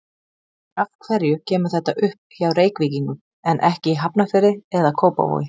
Af hverju kemur þetta upp hjá Reykvíkingum, en ekki í Hafnarfirði eða Kópavogi?